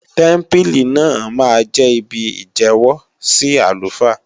Tẹ́mpílì náà máa jẹ́ ibi ìjẹ́wọ́ sí àlùfáà